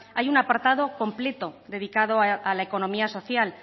hay un apartado completo dedicado a la economía social